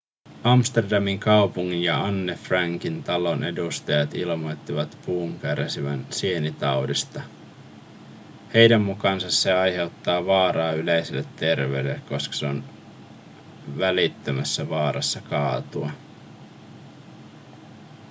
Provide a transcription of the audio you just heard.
amsterdamin kaupungin ja anne frankin talon edustajat ilmoittivat puun kärsivän sienitaudista heidän mukaansa se aiheuttaa vaaraa yleiselle terveydelle koska se on välittömässä vaarassa kaatua